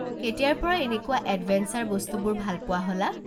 কেতিয়াৰ পৰা এনেকুৱা এডভেঞ্চাৰ বস্তুবোৰ ভাল পোৱা হ'লা।